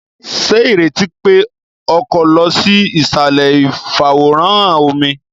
Ṣe ireti pe o ko lọ sí isalẹ ifaworanhan omí!?